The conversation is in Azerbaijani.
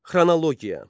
Xronologiya.